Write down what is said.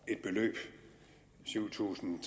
et beløb syv tusind